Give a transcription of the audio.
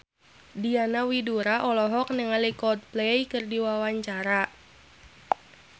Diana Widoera olohok ningali Coldplay keur diwawancara